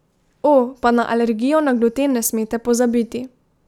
O, pa na alergijo na gluten ne smete pozabiti.